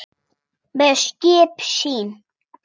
með skip sín